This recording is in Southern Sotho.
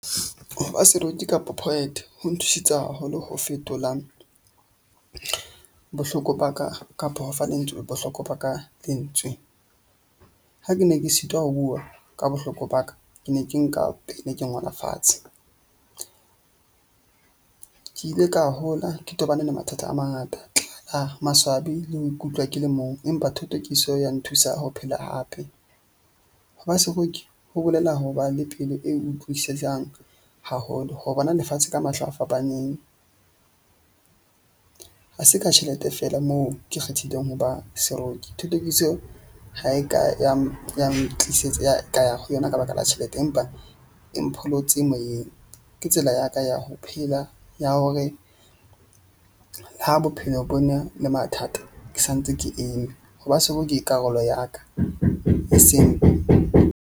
Hoba seroki kapa poet ho nthusitse haholo ho fetola bohloko ba ka kapa ho fa lentswe bohloko ba ka lentswe. Ha ke ne ke sitwa ho bua ka bohloko ba ka, ke ne ke nka pene ke ngole fatshe. Ke ile ka hola ke tobane le mathata a mangata a maswabi le ho ikutlwa ke le mong. Empa thothokiso ya nthusa ho phela hape. Ho ba seroki ho bolela ho ba le pelo e o haholo. Ho bona lefatshe ka mahlo a fapaneng ha se ka tjhelete feela moo ke kgethileng hoba seroki. Thothokiso ha e ka ya tlisetsa ya ka ya ho yona ka baka la tjhelete. Empa e mpholotse moyeng. Ke tsela ya ka ya ho phela ya hore ha bophelo bo ne le mathata. Ke santse ke eme ho ba seroki ke karolo ya ka e seng.